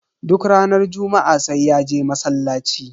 Duk ranar juma'a sai ya je masallaci.